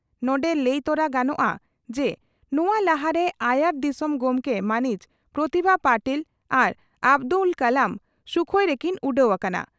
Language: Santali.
ᱱᱚᱰᱮ ᱞᱟᱹᱭ ᱛᱚᱨᱟ ᱜᱟᱱᱚᱜᱼᱟ ᱡᱮ ᱱᱚᱣᱟ ᱞᱟᱦᱟᱨᱮ ᱟᱭᱟᱨ ᱫᱤᱥᱚᱢ ᱜᱚᱢᱠᱮ ᱢᱟᱹᱱᱤᱡ ᱯᱨᱚᱛᱤᱵᱷᱟ ᱯᱟᱹᱴᱤᱞ ᱟᱨ ᱟᱵᱫᱩᱞ ᱠᱟᱞᱟᱢ ᱥᱩᱠᱷᱚᱭ ᱨᱮᱠᱤᱱ ᱩᱰᱟᱹᱣ ᱟᱠᱟᱱᱟ ᱾